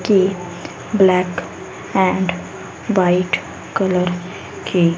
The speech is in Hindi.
कि ब्लैक एंड व्हाइट कलर के--